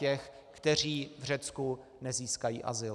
Těch, kteří v Řecku nezískají azyl.